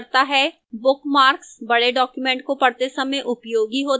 bookmarks बड़े documents को पढ़ते समय उपयोगी होते हैं